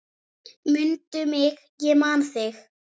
Mundu mig ég man þig.